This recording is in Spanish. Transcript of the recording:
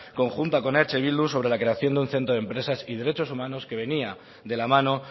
conjunta con eh bildu sobre la creación de un centro de empresas y derechos humanos que venía de la mano